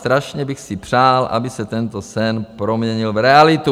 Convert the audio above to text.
Strašně bych si přál, aby se tento sen proměnil v realitu.